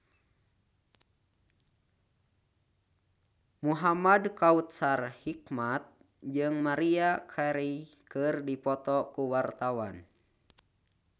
Muhamad Kautsar Hikmat jeung Maria Carey keur dipoto ku wartawan